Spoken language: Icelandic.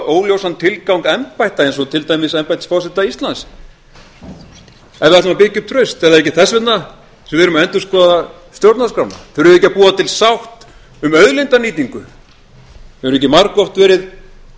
óljósan tilgang embætta eins og til dæmis embættis forseta íslands ef við ætlum að byggja upp traust er það ekki þess vegna sem við erum að endurskoða stjórnarskrána þurfum við ekki að búa til sátt um auðlindanýtingu hefur ekki margoft verið